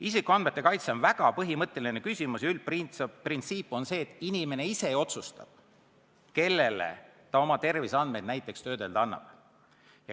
Isikuandmete kaitse on väga põhimõtteline küsimus ja üldprintsiip on see, et inimene ise otsustab, kellele ta oma terviseandmeid töödelda annab.